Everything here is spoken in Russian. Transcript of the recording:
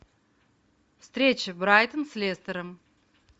встреча брайтон с лестером